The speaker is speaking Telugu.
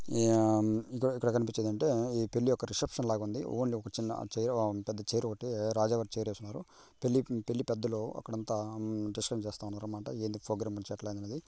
ఈ ఆ ఇక్కడ కనిపించేది అంటే పెళ్లి యొక్క రిసెప్షన్ లాగా ఉంది. ఓన్లీ ఒక చిన్న చైర్ బావుంది పెద్ద చైర్ ఒకటే రాజా వారి చైర్ వేసుకున్నారు పెళ్లి పెళ్లికి పెద్దలు అక్కడంతా డిస్కషన్ వారి ప్రోగ్రాం ముచ్చట్ల అన్నీ--